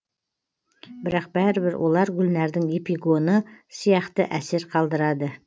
бірақ бәрібір олар гүлнәрдің эпигоны сияқты әсер қалдырады